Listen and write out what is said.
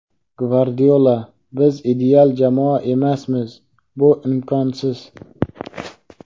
Gvardiola: Biz ideal jamoa emasmiz, bu imkonsiz.